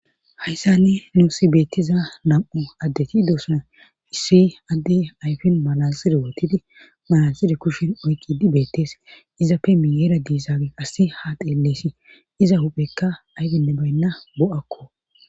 Hayssani nuusi beettiza nam7u addeti doosan issi adde ayfin malalside wootidi malalside kushin oyqidi beettees izappe miyeera diisage assi ha deelleesi iza huphekka ayfenne baynna bo7akko